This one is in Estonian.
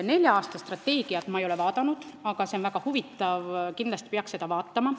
Nelja aasta strateegiat ei ole ma vaadanud, aga see on väga huvitav, kindlasti peaks seda vaatama.